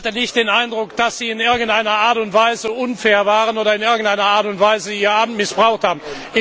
Ich hatte nicht den Eindruck, dass Sie in irgendeiner Art und Weise unfair waren oder in irgendeiner Art und Weise Ihr Amt missbraucht haben.